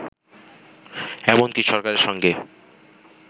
এমনকি সরকারের সঙ্গে